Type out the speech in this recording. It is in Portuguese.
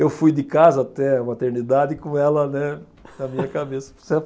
Eu fui de casa até a maternidade, com ela, né, na minha cabeça.